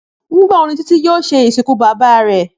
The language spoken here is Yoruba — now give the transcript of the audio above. Nígbà wo ni Títí yóò se ìsìnkú bàbá re?